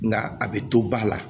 Nga a bɛ to ba la